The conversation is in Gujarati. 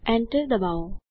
Enter ડબાઓ